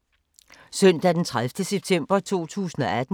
Søndag d. 30. september 2018